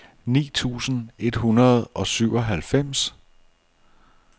ni tusind et hundrede og syvoghalvfems